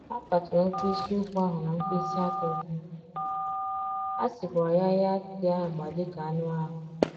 A kpaturu mkpịsị ụkwụ ahụ na mkpịsị aka ụkwụ, a sikwara ya ya tee agba dị ka anụ ahụ.